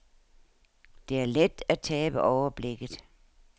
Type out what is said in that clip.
Det er let at tabe overblikket.